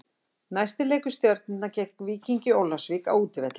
Næsti leikur Stjörnunnar er gegn Víkingi Ólafsvík á útivelli.